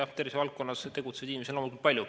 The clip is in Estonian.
Eks tervisevaldkonnas tegutsevaid inimesi on loomulikult palju.